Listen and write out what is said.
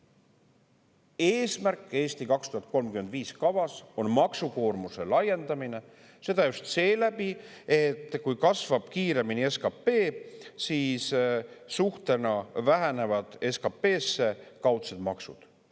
Eesmärk "Eesti 2035" kavas on maksukoormuse laiendamine, seda just seeläbi, et kui kasvab kiiremini SKP, siis suhtena SKP-sse vähenevad kaudsed maksud.